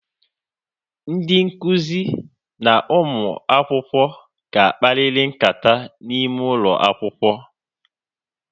Ndị nkụzi na ụmụ akwụkwọ ga akpariri nkata n'ime ụlọ akwụkwọ